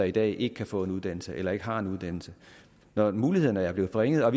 i dag ikke kan få en uddannelse eller ikke har en uddannelse når mulighederne er blevet forringet og